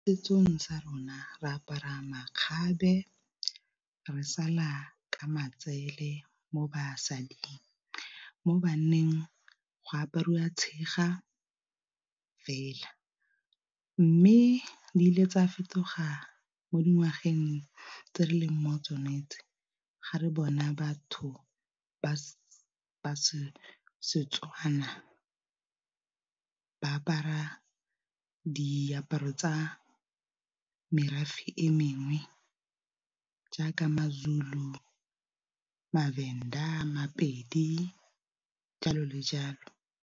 Setsong sa rona re apara makgabe re sala ka matsele mo basading mo banneng go apariwa tshega fela, mme di ile tsaya fetoga mo dingwageng tse re leng mo tsone tse, ga re bona batho ba Setswana ba apara diaparo tsa merafe e mengwe jaaka maZulu, maVenda, Mapedi, jalo le jalo.